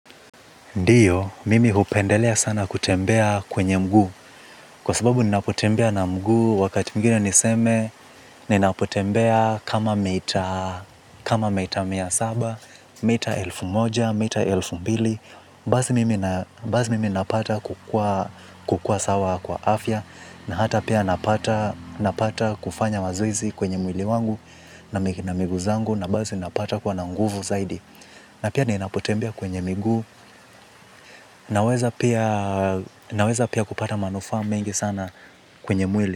Ndio, mimi hupendelea sana kutembea kwenye mguu, kwa sababu ninapotembea na mguu, wakati mwigine niseme, ninapotembea kama mita kama mita mia saba, mita elfu moja, mita elfu mbili, basi mimi napata kukua sawa kwa afya na hata pia napata kufanya mazoezi kwenye mwili wangu, na miguu zangu, na basi napata kuwa na nguvu zaidi. Na pia ninapotembea kwenye miguu naweza pia kupata manufaa mengi sana kwenye mwili.